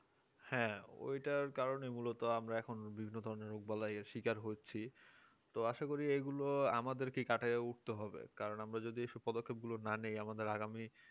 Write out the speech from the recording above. হ্যাঁ ওইটার কারণে মূলত আমরা এখন বিভিন্ন ধরনের রোগ বালাই শিকার করছি তো আশা করি এগুলো আমাদেরকে কাটাইয়া উঠতে হবে কারণ আমরা যদি এইসব পদক্ষপ গুলো না নি আমাদের আগামী